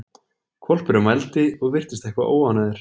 Hvolpurinn vældi og virtist eitthvað óánægður.